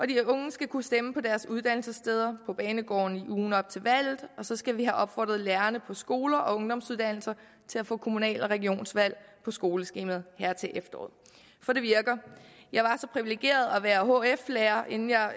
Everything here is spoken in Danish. de unge skal kunne stemme på deres uddannelsessteder på banegårdene i ugen op til valget og så skal vi have opfordret lærerne på skoler og ungdomsuddannelser til at få kommunal og regionsvalg på skoleskemaet her til efteråret for det virker jeg var så privilegeret at være hf lærer inden jeg